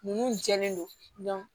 Mun jɛnnen don